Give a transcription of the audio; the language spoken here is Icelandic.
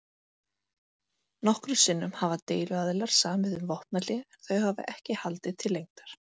Nokkrum sinnum hafa deiluaðilar samið um vopnahlé en þau hafa ekki haldið til lengdar.